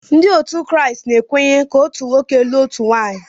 Ndị otu Kraịst na-ekwenye na otu nwoke ilụ otu nwaanyị.